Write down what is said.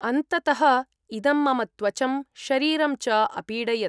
अन्ततः इदं मम त्वचं शरीरं च अपीडयत्‌।